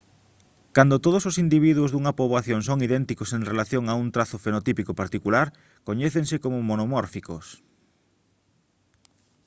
cando todos os individuos dunha poboación son idénticos en relación a un trazo fenotípico particular coñécense como monomórficos